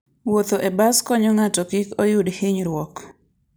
Wuotho e bas konyo ng'ato kik oyud hinyruok.